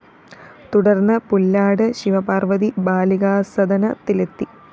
തുടര്‍ന്ന് പുല്ലാട് ശിവപാര്‍വ്വതി ബാലികാസദനത്തിലെത്തി